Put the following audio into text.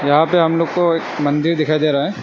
यहां पे हम लोग को एक मंदिर दिखाई दे रहा है।